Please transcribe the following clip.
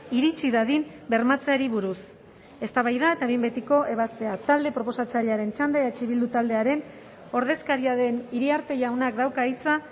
iritsi dadin bermatzeari buruz eztabaida eta behin betiko ebazpena talde proposatzailearen txanda eh bildu taldearen ordezkaria den iriarte jaunak dauka hitza